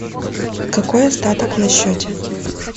какой остаток на счете